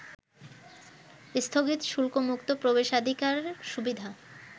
স্থগিত শুল্কমুক্ত প্রবেশাধিকার সুবিধা